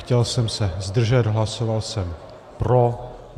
Chtěl jsem se zdržet, hlasoval jsem pro.